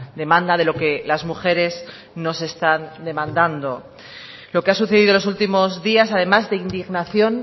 demanda de lo que las mujeres nos están demandando lo que ha sucedido los últimos días además de indignación